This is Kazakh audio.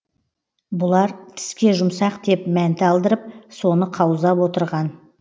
бұлар тіске жұмсақ деп мәнті алдырып соны қаузап отырған